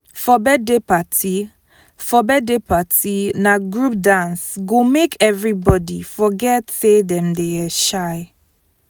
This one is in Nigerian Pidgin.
for birthday party for birthday party na group dance go make everybody forget say dem dey um shy.